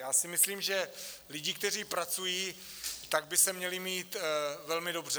Já si myslím, že lidi, kteří pracují, tak by se měli mít velmi dobře.